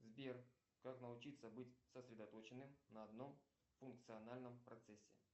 сбер как научиться быть сосредоточенным на одном функциональном процессе